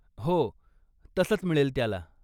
हो, तसंच मिळेल त्याला.